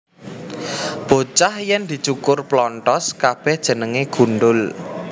Bocah yèn dicukur plonthos kabèh jenengé gundhul